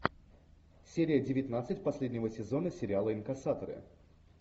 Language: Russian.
серия девятнадцать последнего сезона сериала инкассаторы